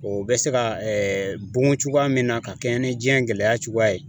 O bɛ se ga ɛɛ dun cogoya min na ka kɛɲɛ ni jiɲɛ gɛlɛya cogoya ye